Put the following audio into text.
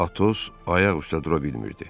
Atos ayaq üstə dura bilmirdi.